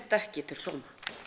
ekki til sóma